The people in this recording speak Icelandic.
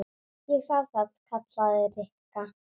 Ég sá það. kallaði Rikka.